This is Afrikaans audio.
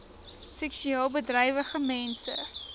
seksueel bedrywige mense